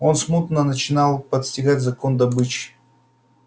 он смутно начинал постигать закон добычи